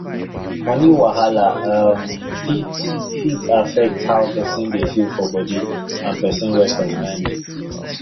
money wahala um fit fit affect how person dey feel for body and person rest of mind